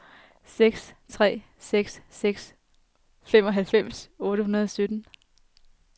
seks tre seks seks femoghalvfems otte hundrede og sytten